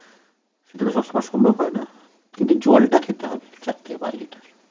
সেটাতো সব সময় সুন্দর হয় না কিন্তু জলটা খেতে হবে চার্ থেকে পাঁচ লিটার